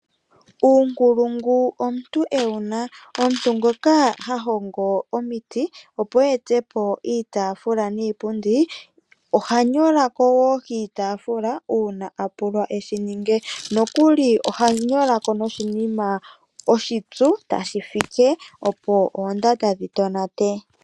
Uunkulungu omuntu ewuna. Omuntu ngoka ha hongo omiiti opo etepo iitafula niipundi. Oha nyola kowo kiitafula ngele a pulwa eshi ninge. Nokuli oha nyola ko noshinima oshipyu tashi fike opo oondanda dhi tonate.